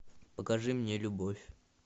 покажи мне любовь